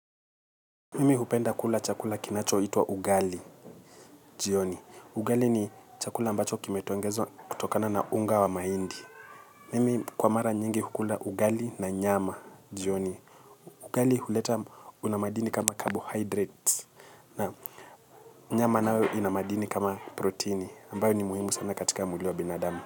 Mimi hupenda kula chakula kinachoitwa ugali, jioni. Ugali ni chakula ambacho kimetongezwa kutokana na unga wa mahindi. Mimi kwa mara nyingi hukula ugali na nyama, jioni. Ugali huleta una madini kama carbohydrates. Na nyama nayo ina madini kama protini. Ambayo ni muhimu sana katika mwili wa binadamu.